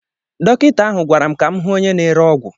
Dọkịta ahụ gwara m ka m hụ onye na-ere ọgwụ.